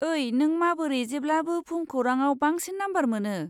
ओइ, नों माबोरै जेब्लाबो भुमखौरांआव बांसिन नाम्बार मोनो?